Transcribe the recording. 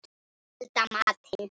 Elda matinn.